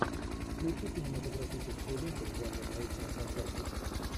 включи кинематографическую ленту в жанре научная фантастика